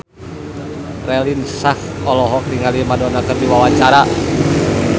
Raline Shah olohok ningali Madonna keur diwawancara